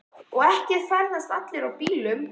Og ekki ferðast allir í bílum.